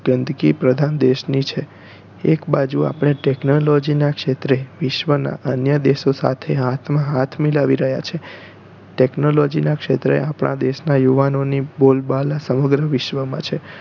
ગંદકી પ્રધાન દેશ ની છે એક બાજુ આપણે technology નાં ક્ષેત્રે વિશ્વ ના અન્ય દેશો સાથે હાથ માં હાથ મિલાવી રહ્યા છે technology નાં ક્ષેત્રે આપણા દેશનાં યુવાનો ની બોલબાલ સમગ્ર વિશ્વ માં છે